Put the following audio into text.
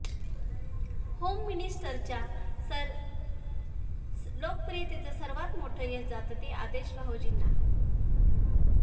home मिनिस्टरच्या लोकप्रियतेचं सर्वात मोठं यश जातं ते आदेश भावोजींना